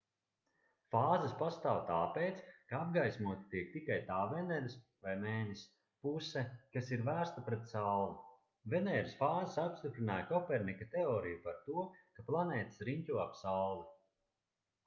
fāzes pastāv tāpēc ka apgaismota tiek tikai tā veneras vai mēness puse kas ir vērsta pret sauli. venēras fāzes apstiprināja kopernika teoriju par to ka planētas riņķo ap sauli